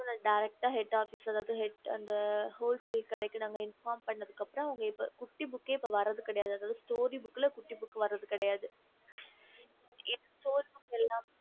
நாங்க கடியால derecet infom பண்ணதுக்கு அப்புறம் குட்டி book இப்போ வரத்து இல்ல